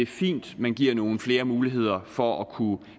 fint at man giver nogle flere muligheder for at kunne